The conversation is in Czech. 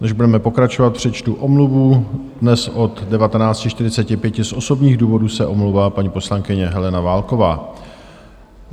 Než budeme pokračovat, přečtu omluvu: dnes od 19.45 z osobních důvodů se omlouvá paní poslankyně Helena Válková.